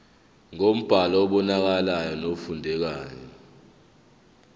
ngombhalo obonakalayo nofundekayo